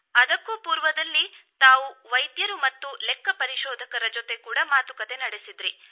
ಅದಕ್ಕೂ ಪೂರ್ವದಲ್ಲಿ ತಾವುವೈದ್ಯರು ಮತ್ತು ಲೆಕ್ಕಪರಿಶೋಧಕರ ಜೊತೆ ಕೂಡ ಮಾತುಕತೆ ನಡೆಸಿದ್ದಿರಿ